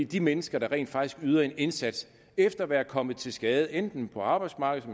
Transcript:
de mennesker der rent faktisk yder en indsats efter at være kommet til skade enten på arbejdsmarkedet